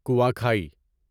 کنواں کھائی